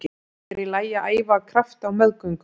Er í lagi að æfa af krafti á meðgöngu?